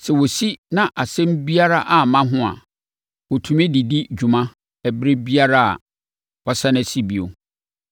Sɛ wɔsi na asɛm biara amma ho a, wɔtumi de di dwuma biara ɛberɛ a wɔasane asi bio no.”